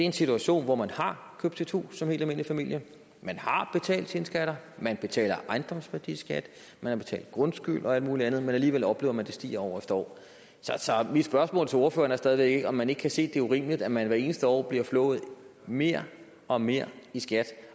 en situation hvor man har købt sit hus som en helt almindelig familie man har betalt sine skatter man betaler ejendomsværdiskat man har betalt grundskyld og alt muligt andet men alligevel oplever man at det stiger år efter år så mit spørgsmål til ordføreren er stadig væk om man ikke kan se det er urimeligt at man hvert eneste år bliver flået mere og mere i skat